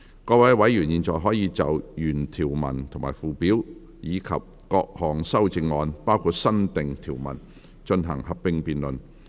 各位委員現在可以就原條文及附表，以及各項修正案進行合併辯論。